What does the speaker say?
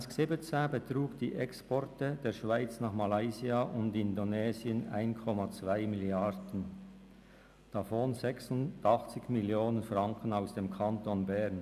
2017 betrugen die Exporte der Schweiz nach Malaysia und Indonesien 1,2 Milliarden Franken, davon 86 Millionen Franken aus dem Kanton Bern.